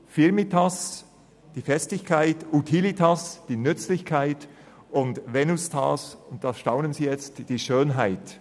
«firmitas», die Festigkeit, «utilitas», die Nützlichkeit, und «venustas» – nun staunen Sie vielleicht –, die Schönheit.